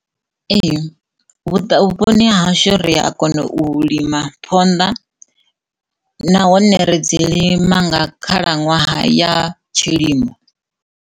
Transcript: Ee, vhuponi ha hashu ri a kona u lima phonḓa nahone ri dzi lima nga khalaṅwaha ya tshilimo.